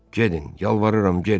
Gedin, yalvarıram, gedin.